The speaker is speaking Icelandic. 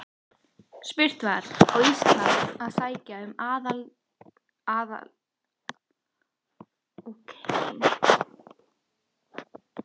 Spurt var: Á Ísland að sækja um aðild að Evrópusambandinu?